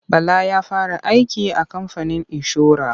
Bala ya fara aiki a kamfanin inshora.